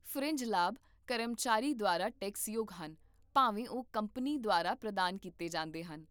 fringe ਲਾਭ ਕਰਮਚਾਰੀ ਦੁਆਰਾ ਟੈਕਸਯੋਗ ਹਨ ਭਾਵੇਂ ਉਹ ਕੰਪਨੀ ਦੁਆਰਾ ਪ੍ਰਦਾਨ ਕੀਤੇ ਜਾਂਦੇ ਹਨ